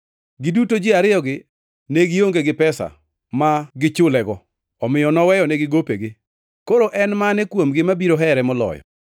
Giduto ji ariyogi ne gionge gi pesa ma gichulego, omiyo noweyonegi gopegi. Koro en mane kuomgi mabiro here moloyo?”